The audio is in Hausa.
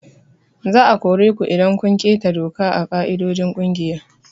Za a kore ku idan kun keta doka da ƙa'idojin kungiya.